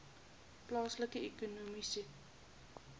plaaslike ekonomiese